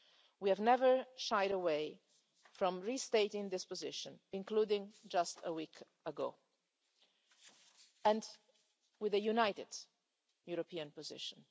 We have never shied away from restating this position, including just a week ago, and it is a united European position.